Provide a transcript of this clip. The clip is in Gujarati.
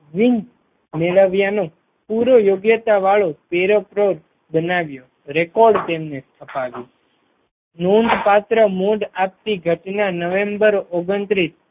વિગ મેળવ્યાનો પૂરો યોગ્યતા વાળો પ્રેરકૃત બનાવ્યો રેકોર્ડ તેમને અપાવ્યો નોંધપાત્ર મોઢ આપતી ઘટના નવેમ્બર ઓગણત્રીસ